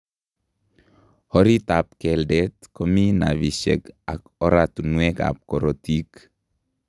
Orit ab keldet komii nervisiek ak oratunwek ab korotik